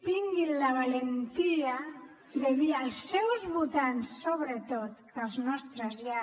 tinguin la valentia de dir als seus votants sobretot que els nostres ja